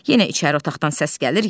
Yenə içəri otaqdan səs gəlir.